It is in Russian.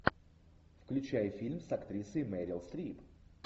включай фильм с актрисой мерил стрип